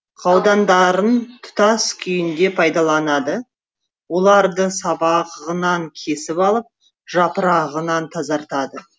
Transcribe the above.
қаудандарын тұтас күйінде пайдаланады оларды сабағынан кесіп алып жапырағынан тазартады